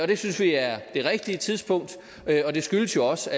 det synes vi er det rigtige tidspunkt og det skyldes jo også